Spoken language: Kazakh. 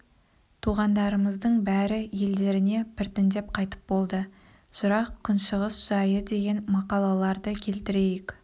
туғандарымыздың бәрі елдеріне біртіндеп қайтып болды жырақ күншығыс жайы деген мақалаларды келтірейік